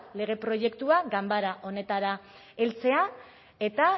lege proiektua ganbera honetara heltzea eta